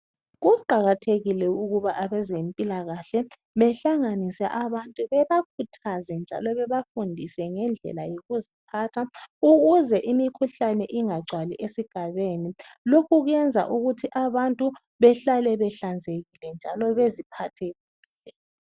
Kuqakathekile ukuba abezempilakahle behlanganise abantu bebakhuthaze njalo bebafundise ngendlela yokuziphatha ukuze imikhuhlani ingagcwali esigabeni. Lokhu kwenza ukuthi abantu behlale behlanzekile njalo beziphathe kuhle.